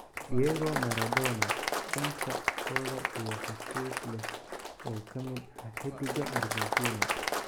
Diego Maradona: Shanta odha iyo xusuus leh oo ka mid ah xiddiga Argentina.